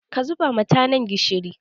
Ka zuba ma tanan gishiri.